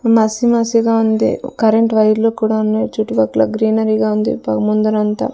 మసి మసిగా ఉంది కరెంటు వైర్లు కూడా ఉన్నాయి చుట్టుపక్కల గ్రీనరీగా ఉంది పొగ ముందరంతా--